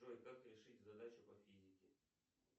джой как решить задачу по физике